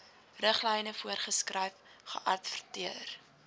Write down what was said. riglyne voorgeskryf geadverteer